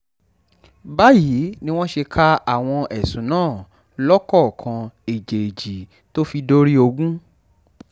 báyìí ni wọ́n ṣe ka àwọn ẹ̀sùn náà lọ́kọ̀ọ̀kan èjèèjì tó fi dórí ogun